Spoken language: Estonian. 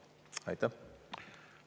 Aitäh!